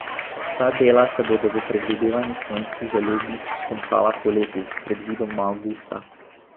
Ta dela se bodo po predvidevanjih Slovenskih železnic končala poleti, predvidoma avgusta.